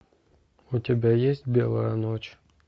у тебя есть белая ночь